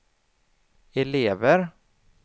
elever